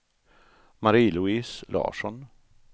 Marie-Louise Larsson